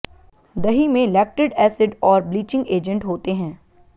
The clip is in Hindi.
दही में लैक्टिड एसिड और ब्लीचिंग एजेंट होते हैं